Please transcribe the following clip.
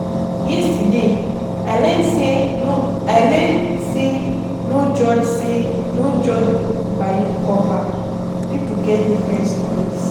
Yesterday, I learn sey no I learn sey no judge sey no judge book by im cover, pipo get different stories.